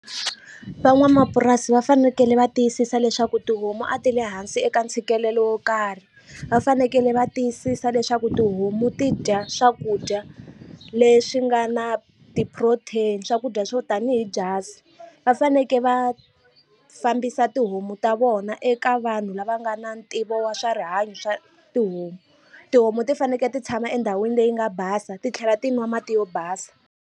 Van'wamapurasi va fanekele va tiyisisa leswaku tihomu a ti le hansi eka ntshikelelo wo karhi va fanekele va tiyisisa leswaku tihomu ti dya swakudya leswi nga na ti-protein swakudya swo tanihi byasi va faneke va fambisa tihomu ta vona eka vanhu lava nga na ntivo wa swa rihanyo swa tihomu tihomu ti faneke ti tshama endhawini leyi nga basa titlhela ti nwa mati yo basa.